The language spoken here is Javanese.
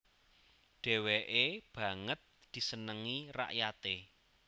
Dheweke banget disenengi rakyate